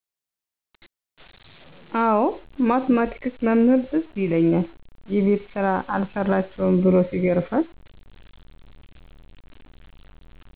አወ ማትማቲክስ መምህር ትዝ ይለኛል የቤት ስራ አልሰራችሁም ብሎ ሲገርፈን